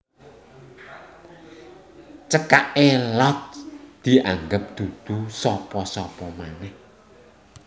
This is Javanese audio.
Cekaké Lotz dianggep dudu sapa sapa manèh